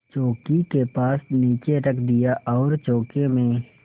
चौकी के पास नीचे रख दिया और चौके में